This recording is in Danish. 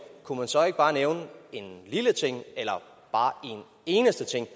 kunne han så ikke bare nævne en lille ting eller bare en eneste ting